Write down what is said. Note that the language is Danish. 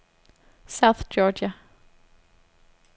South Georgia